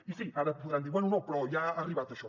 i sí ara podran dir bé no però ja ha arribat això